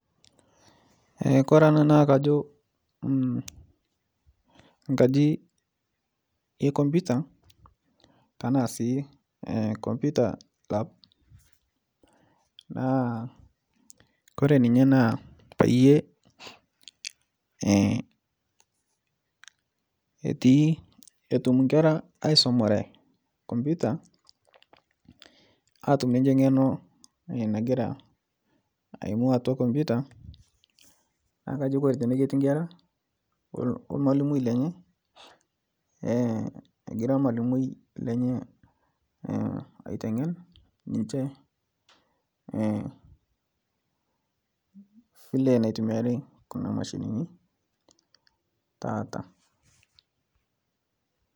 Kore naakajo nkaji ekomputa tanasii komputa lab naa Kore ninye naa payie etii etum nkera aisomare komputa atum nichhe ng'eno nagira aimu atua komputa naakajo Kore tene ketii nkera olmalimoi lenye egira lmalimoi lenye aitengen niche vile naitumiari kuna mashinini taata